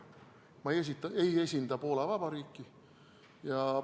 Ma ei esinda Poola Vabariiki.